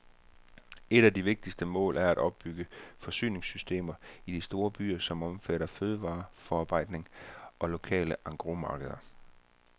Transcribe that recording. Et af de vigtigste mål er at opbygge forsyningssystemer i de store byer, som omfatter fødevareforarbejdning og lokale engrosmarkeder.